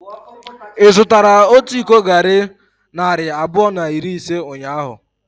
Ị zụtara otu iko garri narị abụọ na iri ise ụnyahụ?